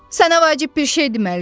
Sənə vacib bir şey deməliyəm.